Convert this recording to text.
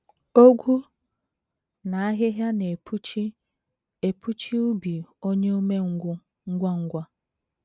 Ogwu na ahịhịa na - epuchi epuchi ubi onye umengwụ ngwa ngwa.